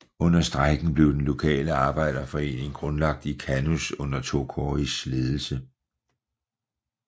Under strejken blev den lokale arbejderforening grundlagt i Kannus under Tokois ledelse